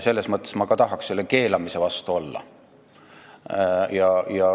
Selles mõttes ma tahaks selle keelamise vastu olla.